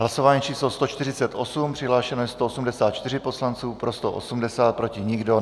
Hlasování číslo 148, přihlášeno je 184 poslanců, pro 180, proti nikdo.